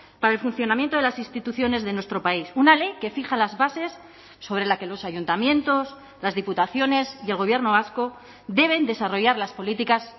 para el funcionamiento de las instituciones de nuestro país una ley que fija las bases sobre la que los ayuntamientos las diputaciones y el gobierno vasco deben desarrollar las políticas